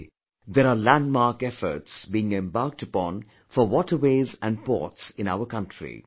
Today there are landmark efforts, being embarked upon for waterways and ports in our country